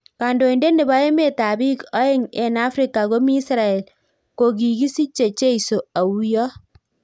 Kandoindet nepo emeet ap piik oeng eng Afrika komii Israel ko kikisichee jeisoo auyoo